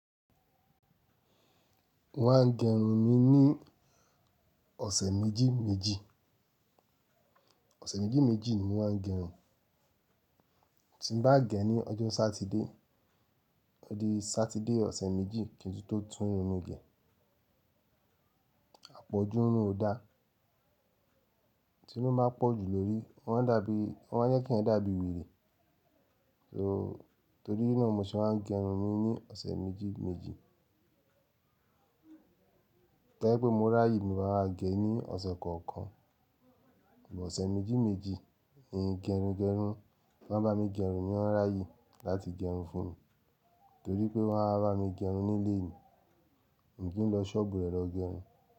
Mo máa ń gẹrun mi ní ọ̀sẹ̀ méjì méjì. Ọ̀sẹ̀ méjì méjì ni mo máa ń gẹrun. Ti ń bá gẹ ní ọjọ́ Sátidé, ó di Sátidé ọ̀sẹ̀ méjì kí n tó tún irun mi gẹ. Àpọ̀jù irun ò dá, tí irun bá pọ̀ jù lórí, wọ́n a dàbí, ó máa jẹ kí ẹeyan dàbí wèrè. So, torí náà mo ṣe máa ń gẹrun mi ní ọ̀sẹ̀ méjì méjì. Tó bá jẹ́ pé mo rà ye ni màá máa gẹ ní ọ̀sẹ̀ kọ̀ọ̀kan, ṣùgbọ́n ọ̀sẹ̀ méjì méjì ni gẹrun gẹrun. Wọ́n bá mi gẹrun ni wọ́n rà yì láti gẹrun fún mi, torí pé wọ́n á bá mi gẹrun nílé mi. N ò kí n lọ ṣọ́ọ̀bù rẹ̀ lọ gẹrun.